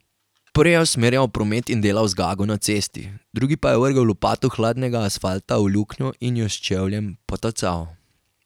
Prvi je usmerjal promet in delal zgago na cesti, drugi pa je vrgel lopato hladnega asfalta v luknjo in jo s čevljem potacal.